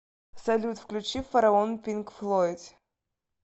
салют включи фараон пинк флойд